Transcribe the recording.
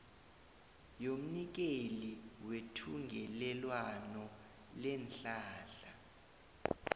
yomnikeli wethungelelwano leenhlahla